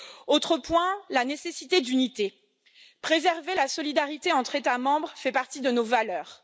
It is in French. Autre point, la nécessité d'unité préserver la solidarité entre États membres fait partie de nos valeurs.